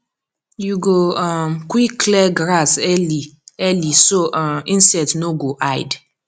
you go um quick clear grass early early so um insect no go hide